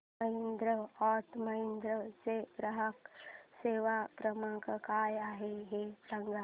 Mahindra and Mahindra चा ग्राहक सेवा क्रमांक काय आहे हे सांगा